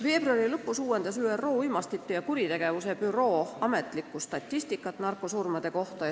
Veebruari lõpus uuendas ÜRO Uimastite ja Kuritegevuse Büroo narkosurmade ametlikku statistikat.